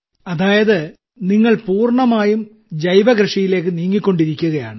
അതായത് നിങ്ങൾ പൂർണ്ണമായും ജൈവകൃഷിയിലേക്ക് നീങ്ങിക്കൊണ്ടിരിക്കുകയാണ്